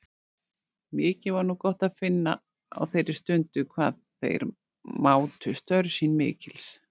Mikið var nú gott að finna á þeirri stundu hvað þeir mátu störf mín mikils.